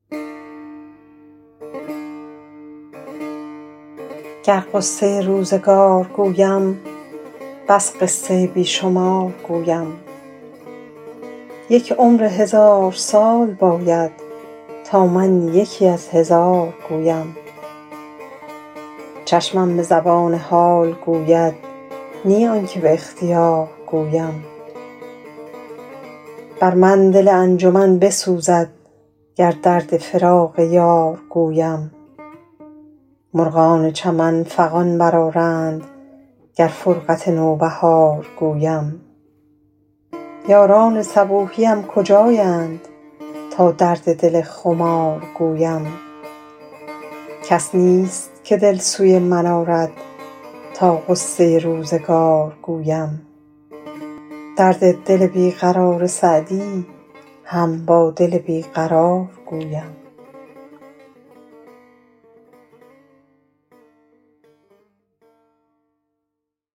گر غصه روزگار گویم بس قصه بی شمار گویم یک عمر هزار سال باید تا من یکی از هزار گویم چشمم به زبان حال گوید نی آن که به اختیار گویم بر من دل انجمن بسوزد گر درد فراق یار گویم مرغان چمن فغان برآرند گر فرقت نوبهار گویم یاران صبوحیم کجایند تا درد دل خمار گویم کس نیست که دل سوی من آرد تا غصه روزگار گویم درد دل بی قرار سعدی هم با دل بی قرار گویم